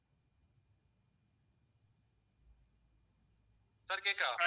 sir கேட்குதா